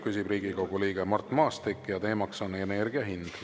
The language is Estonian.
Küsib Riigikogu liige Mart Maastik ja teemaks on energiahind.